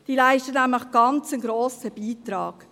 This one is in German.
Sie leisten nämlich einen ganz grossen Beitrag.